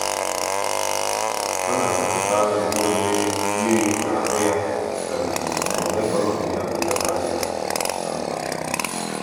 ọ na-achọpụta na inwe mmiri na ahụ ya na-eme ka ọnọdụ ya na nlebara anya ya ka mma.